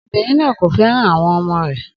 Obinrin naa ko fẹran awọn ọmọ rẹ